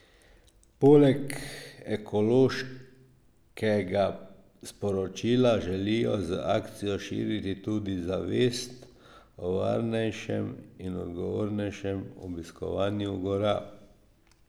Poleg ekološkega sporočila želijo z akcijo širiti tudi zavest o varnejšem in odgovornejšem obiskovanju gora.